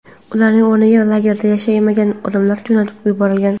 Ularning o‘rniga lagerda yashamagan odamlar jo‘natib yuborilgan.